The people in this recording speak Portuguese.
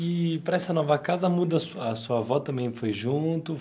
E para essa nova casa, muda sua a sua avó também foi junto?